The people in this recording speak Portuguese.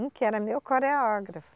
Um que era meu coreógrafo.